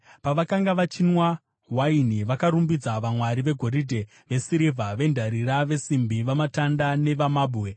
Pavakanga vachinwa waini, vakarumbidza vamwari vegoridhe, vesirivha, vendarira, vesimbi, vamatanda nevamabwe.